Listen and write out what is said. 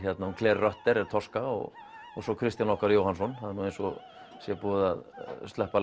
Tosca og svo Kristján okkar Jóhannsson það er nú eins og sé búið að sleppa